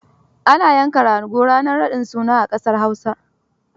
Ana yanka rago ranar raɗin suna a ƙasar Hausa.